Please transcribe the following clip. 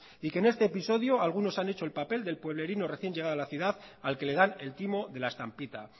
y que en este episodio algunos han hecho el papel del pueblerino recién llegado a la ciudad al que le dan el timo de la estampita